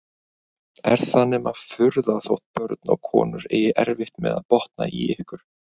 Er það nema furða þótt börn og konur eigi erfitt með að botna í ykkur!